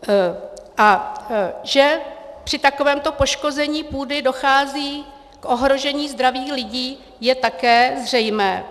A že při takovémto poškození půdy dochází k ohrožení zdraví lidí, je také zřejmé.